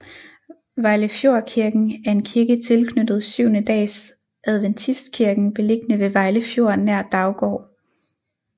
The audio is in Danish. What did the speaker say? Vejlefjordkirken er en kirke tilknyttet Syvende Dags Adventistkirken beliggende ved Vejle Fjord nær Daugård